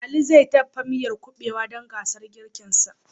Ali zai dafa miyar Kuɓewa dan gasar girkinsa